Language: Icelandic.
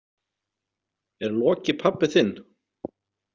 Er Loki pabbi þinn?